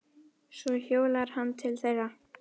Svo hjólar hann til þeirra.